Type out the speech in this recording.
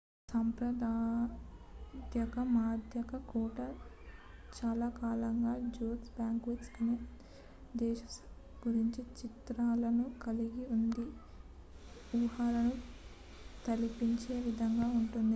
సాంప్రదాయిక మధ్యయుగ కోట చాలాకాలంగా jousts banquets మరియు arthurian ధైర్యసాహసాల గురించిన చిత్రాలను కలిగి ఉండి ఊహను తలిపించే విధంగా ఉంటుంది